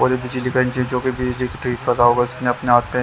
और ये बिजली का अपने आप में--